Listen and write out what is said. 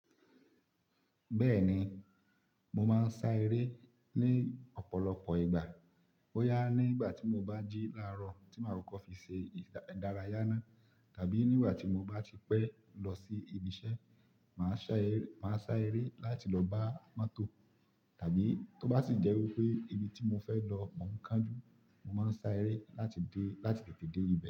Bẹ́ẹ̀ni, mo máa ń sá eré ní ọ̀pọ̀lọpọ̀ ìgbà. Boyá ní ìgbà tí mo bá jí láàárọ̀ tí màá kọọkọ fi ṣe ìdárayá náà tàbí níwà tí mo bá ti pẹ́ lọ sí ibi iṣẹ́, màá sá eré láti lọ bá mọ́tò tàbí tó bá sì jẹ́ wípé ibi tí mo fẹ́ lọ mọ̀ ń kánjú, mo máa ń sá eré láti dé, láti tètè dé ibẹ̀